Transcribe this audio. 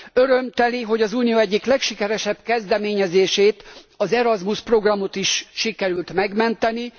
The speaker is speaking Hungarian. Örömteli, hogy az Unió egyik legsikeresebb kezdeményezését az Erasmus programot is sikerült megmenteni.